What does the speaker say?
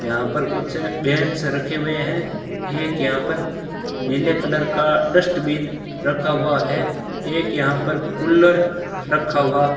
यहां पर कुछ बेंच रखे हुए हैं एक यहां पर नीले कलर का डस्टबिन रखा हुआ है एक यहां पर कूलर रखा हुआ --